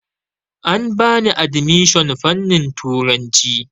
An bani adimishon fanin turanci